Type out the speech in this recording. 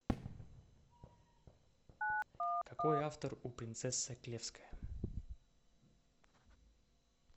какой автор у принцесса клевская